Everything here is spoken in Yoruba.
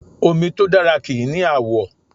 Omi tó dára kì í ni àwọ̀